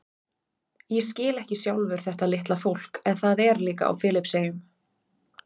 Ég skil ekki sjálfur þetta litla fólk en það er líka á Filippseyjum.